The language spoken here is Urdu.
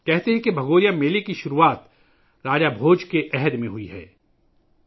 کہا جاتا ہے کہ بھگوریا میلہ راجہ بھوج کے زمانے میں شروع ہوا تھا